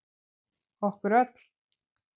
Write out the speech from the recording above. Okkur öll.